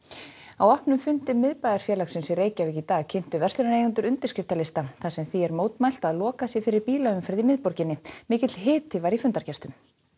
á opnum fundi Miðbæjarfélagsins í Reykjavík í dag kynntu verslunareigendur undirskriftalista þar sem því er mótmælt að lokað sé fyrir bílaumferð í miðborginni mikill hiti var í fundargestum